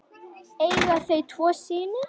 Eiga þau tvo syni.